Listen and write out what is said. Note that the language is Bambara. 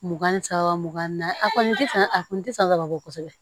Mugan ni saba mugan na a kɔni tɛ san a kun tɛ sanga labɔ kosɛbɛ